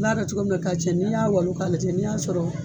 N'a kɛ cogo man ɲi ka cɛn, ni y'a walon ka lajɛ ni y'a sɔrɔ